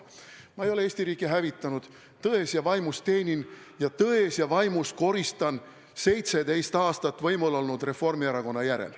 Ma ei ole Eesti riiki hävitanud, tões ja vaimus teenin seda ning tões ja vaimus koristan 17 aastat võimul olnud Reformierakonna järel.